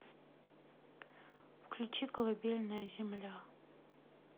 включи колыбельная земля